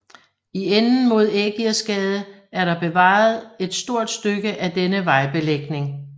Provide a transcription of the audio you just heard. I enden mod Ægirsgade er der bevaret et stort stykke af denne vejbelægning